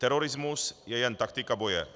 Terorismus je jen taktika boje.